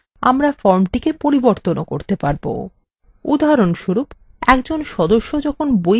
উদাহরণস্বরূপ একজন সদস্য যখন বই ফেরৎ দেবেন তখন আপনি সেই তথ্য পরিবর্তন করতে পারবেন